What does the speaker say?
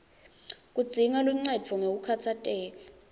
kudzinga luncendvo ngekukhatsateka